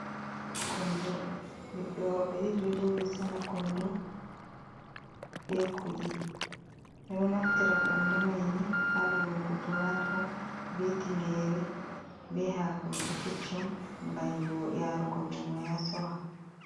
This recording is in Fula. kondo ɓiɓɓe worɓe ɗiɗi ɗo joɗi sanya kondo be kuɗi, ɓe ɗo naftira kondo mai ni, ha lowugo tumato be tingere be hakoji keccum ngam yarugo lumo ya sora.